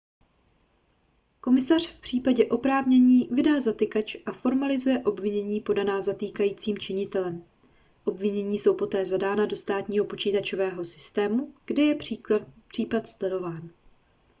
komisař v případě oprávnění vydá zatykač a formalizuje obvinění podaná zatýkajícím činitelem obvinění jsou poté zadána do státního počítačového systému kde je případ sledován